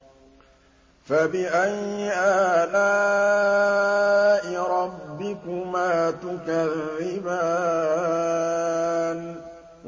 فَبِأَيِّ آلَاءِ رَبِّكُمَا تُكَذِّبَانِ